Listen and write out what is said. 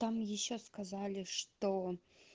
там ещё сказали что